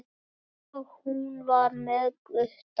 Og hún var með Gutta!